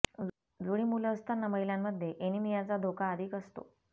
जुळी मुलं असताना महिलांमध्ये एनीमियाचा धोका अधिक असतो